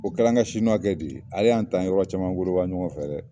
O kɛla an ka siniwakɛ de ye ale y'an ta an ye yɔrɔ caman godoba ɲɔgɔn fɛ dɛ!